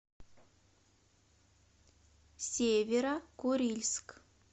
северо курильск